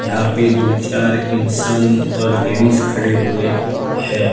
यहां पे दो चार इंसान और लेडीज खड़े हुए है।